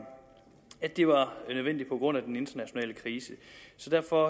at det var nødvendigt på grund af den internationale krise så derfor